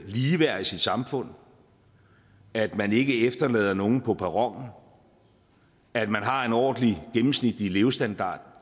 lige værd i sit samfund at man ikke efterlader nogen på perronen og at man har en ordentlig gennemsnitlig levestandard